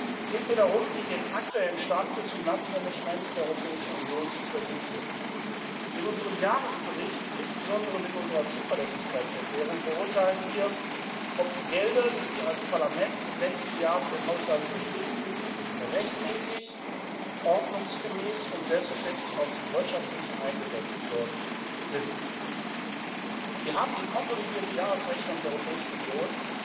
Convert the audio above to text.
Es geht mir darum, Ihnen den aktuellen Stand des Finanzmanagements der Europäischen Union zu präsentieren. In unserem Jahresbericht und insbesondere mit unserer Zuverlässigkeitserklärung beurteilen wir, ob die Gelder, die Sie als Parlament im letzten Jahr für den Haushalt bewilligt haben, rechtmäßig, ordnungsgemäß und selbstverständlich auch wirtschaftlich eingesetzt worden sind. Wir haben die konsolidierte Jahresrechnung der Europäischen Union